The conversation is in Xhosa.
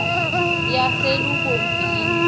yaselubomvini